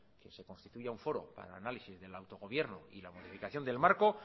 que se constituya un foro para el análisis del autogobierno y la modificación del marco